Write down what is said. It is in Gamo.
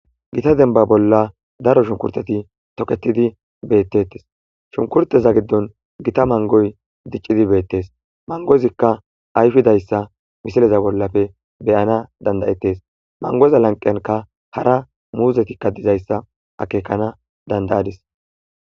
gita denba bolla daro shunkurteti toketidi beettettes shunkurteza giddon gita mangoy diccidi beettes mangozikka ayfidayssa misileza bollafe beyana dandayettes mangoza lanqenka hara muuzetikka dizayssa akekana dandayadis